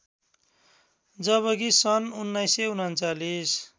जबकि सन् १९३९